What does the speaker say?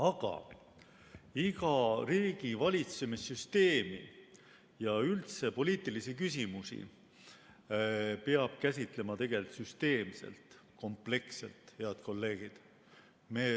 Aga iga riigivalitsemissüsteemi ja üldse poliitilisi küsimusi peab käsitlema tegelikult süsteemselt, kompleksselt, head kolleegid.